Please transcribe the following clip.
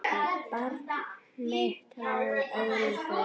Barn mitt að eilífu.